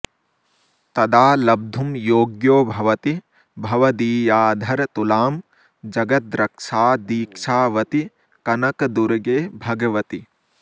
तदा लब्धुं योग्यो भवति भवदीयाधरतुलां जगद्रक्षादीक्षावति कनकदुर्गे भगवति